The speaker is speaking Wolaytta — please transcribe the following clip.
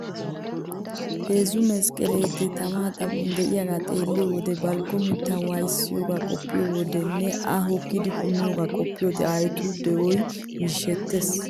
Heezzu mesqqeleetee tamaa xaphphon de'iyagaa xeelliyo wode balggo mittay waayissiyagaa qoppiyo wode nne A hokkidi punniyogaa qoppiyode aayotu de'oy mishettees.